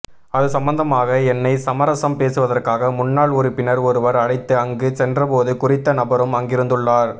அது சம்மந்தமாக என்னை சமரசம் பேசுவதற்காக முன்னாள் உறுப்பினர் ஒருவர் அழைத்து அங்கு சென்ற போது குறித்த நபரும் அங்கிருந்துள்ளார்